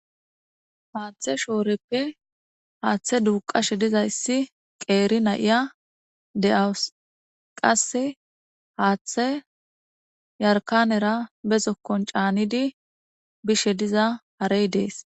Haaththe shooreppe haaththe duuqashe dizayssi qeeri na'iya de7awus qase haaththe yarkanera be zokkon caanidi bishe diza harey dees.